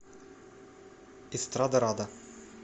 эстрадарада